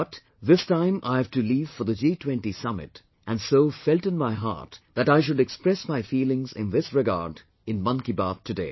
But, this time I have to leave for G20 Summit and so felt in my heart that I should express my feelings in this regard in 'Mann Ki Baat' today